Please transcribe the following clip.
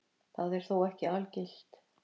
Það er þó ekki algilt.